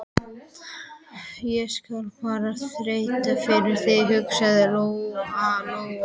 Ég skal bara þræta fyrir það, hugsaði Lóa-Lóa.